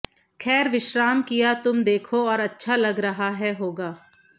खैर विश्राम किया तुम देखो और अच्छा लग रहा है होगा